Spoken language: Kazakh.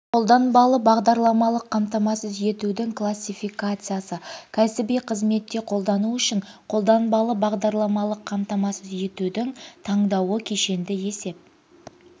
қолданбалы бағдарламалық қамтамасыз етудің классификациясы кәсіби қызметте қолдану үшін қолданбалы бағдарламалық қамтамасыз етудің таңдауы кешенді есеп